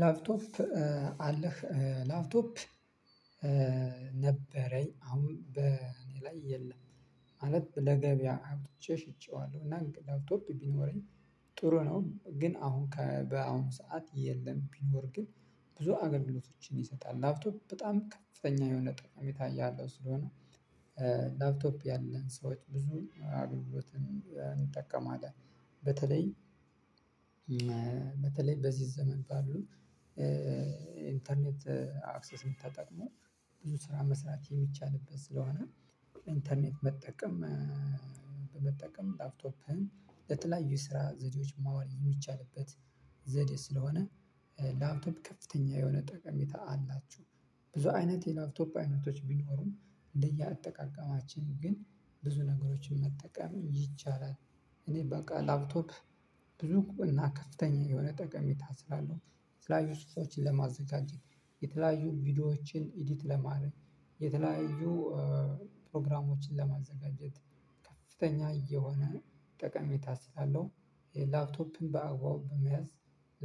ላፕቶፕ አለህ ላፕቶፕ ነበረኝ አሁን በእኔ ላይ የለም ማለት ለገበያ ሀብት ሸጬዋለሁ። እና እና ላፕቶፕ ቢኖረኝ ጥሩ ነው። ግን አሁን በአሁን ሰዓት የለም ቢኖር ግን ብዙ አገልግሎቶችን ይሰጣል። ላፕቶፕ በጣም ከፍተኛ የሆነ ጠቃሜታ ያለው ስለሆነ ላፕቶፕ ያለን ሰዎች ብዙን አገልግሎትን እንጠቀማለን። በተለይ በተለይ በዚህ ዘመን ባሉ ኢንተርኔት አክሰስን ተጠቅመው ብዙ ስራ መስራት የሚቻልበት ስለሆነ። ኢንተርኔት መጠቀም። በመጠቀም ላፕቶፕህን ለተለያዩ ስራ ዘዴዎች ማዋል የሚቻልበት ዘዴ ስለሆነ። ላፕቶፕ ከፍተኛ የሆነ ጠቀሜታ አላችው። ብዙ አይነት የላፕቶፕ አይነቶች ቢኖሩም እንደየአጠቃቀማችን ግን ብዙ ነገሮችን መጠቀም ይቻላል። እኔ በቃ ላፕቶፕ ብዙ እና ከፍተኛ የሆነ ጠቀሜታ ስላለው የተለያዩ ጽሁፎችን ለማዘጋጀት የተለያዩ ቪዲዮዎችን ኤዲት ለማረኝ የተለያዩ ለማዘጋጀት ከፍተኛ እየሆነ ጠቀሜታ ስላለው ላፕቶፕን በአግባቡ በመያዝ